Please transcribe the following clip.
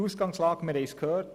Wir haben es gehört: